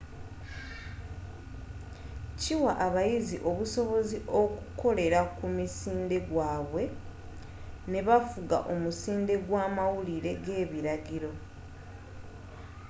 kiwa abayizi obusobozi okukolela ku musinde gwaabwe ne bafuga omusinde gw'amawulire g'ebilagiro